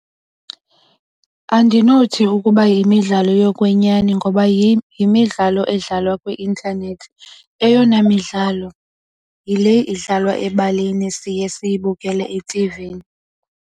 Andinothi ukuba yimidlalo yokwenyani ngoba yimidlalo edlalwa kwi-intanethi. Eyona midlalo yile idlalwa ebaleni siye siyibukele etivini.